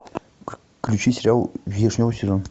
включи сериал вишневый сезон